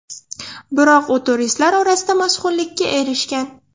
Biroq u turistlar orasida mashhurlikka erishgan.